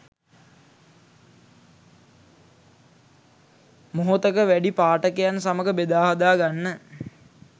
මොහොතක වැඩි පාඨකයන් සමඟ බෙදා හදා ගන්න